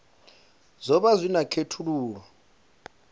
zwo vha zwi na khethululoe